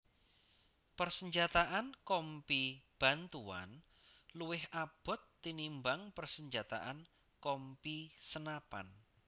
Persenjataan Kompi Bantuan luwih abot tinimbang persenjataan Kompi senapan